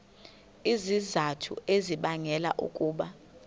izizathu ezibangela ukuba